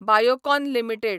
Biocon limited